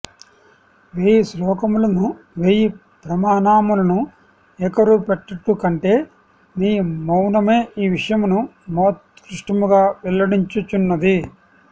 వేయి శ్లోకములను వేయి ప్రమాణములను ఏకరువు పెట్టుటకంటె నీవౌనమే ఈ విషయమును మహోత్కృష్టముగా వెల్లడించుచున్నది